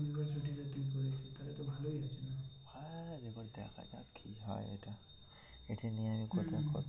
কি হয় এটা এটা নিয়ে আমি কোথায়